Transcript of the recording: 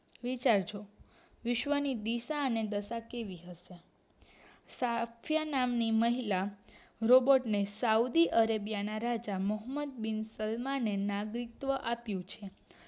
જાવ છો વિશ્વ ની દિશા અને દશા કેવી હશે સાથય નામની મહિલા રોબોર્ટ ને સાઉથ અરબીયાના રાજા મહોબ્બત બિન શર્મા ને નાગરિકત્વ આપ્યું છે